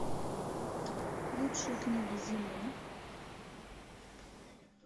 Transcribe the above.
лучшие книги зимы